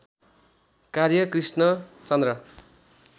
कार्य कृष्णचन्द्र